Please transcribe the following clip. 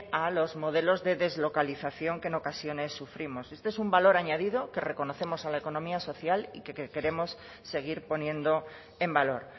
a los modelos de deslocalización que en ocasiones sufrimos este es un valor añadido que reconocemos a la economía social y que queremos seguir poniendo en valor